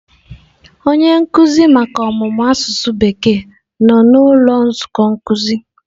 Onye nkuzi maka ọmụmụ asụsụ bekee nọ na ụlọ nzukọ nkuzi.